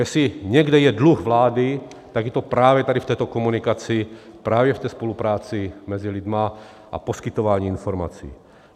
Jestli někde je dluh vlády, tak je to právě tady v této komunikaci, právě v té spolupráci mezi lidmi a poskytování informací.